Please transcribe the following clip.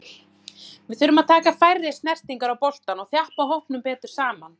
Við þurfum að taka færri snertingar á boltann og þjappa hópnum betur saman.